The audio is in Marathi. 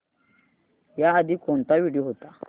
याआधी कोणता व्हिडिओ होता